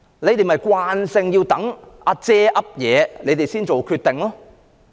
官員慣性要等"阿姐"、"阿爺"有了定案後才做決定。